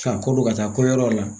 Tɔya kɔ bɛ ka taa kɔyɔrɔw la